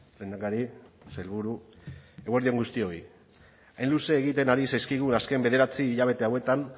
lehendakari sailburu eguerdi on guztioi hain luze egiten ari zaizkigun azken bederatzi hilabete hauetan